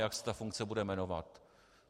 Jak se ta funkce bude jmenovat?